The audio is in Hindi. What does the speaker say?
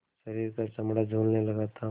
शरीर का चमड़ा झूलने लगा था